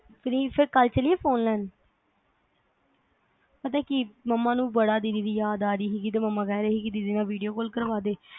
free ਫਿਰ ਕਲ ਚਲੀਏ ਫੋਨ ਲੈਣ ਵਾਸਤੇ ਪਤਾ ਕੀ ਮੰਮਾ ਨੂੰ ਬੜੀ ਦੀਦੀ ਦੀ ਯਾਦ ਆ ਰਹੀ ਸੀ ਮੰਮਾ ਕਹਿ ਰਹੇ ਸੀ ਕੇ ਦੀਦੀ ਨਾਲ video call ਕਰਵਾ ਦੇ